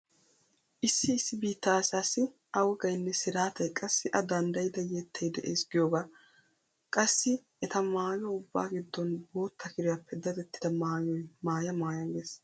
Issi issi biitta asaassi a wogaynne siraatay qassi a danddayida yettay de'ees giyogaa. Qassi eta maayo ubbaa giddon botta kiriyappe dadettida maayoy maaya maaya gees.